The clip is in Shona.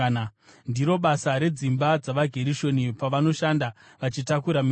“Ndiro basa redzimba dzavaGerishoni pavanoshanda vachitakura mitoro.